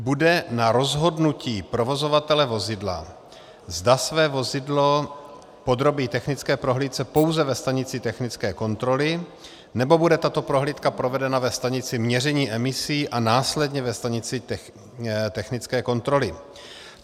Bude na rozhodnutí provozovatele vozidla, zda své vozidlo podrobí technické prohlídce pouze ve stanici technické kontroly, nebo bude tato prohlídka provedena ve stanici měření emisí a následně ve stanici technické kontroly.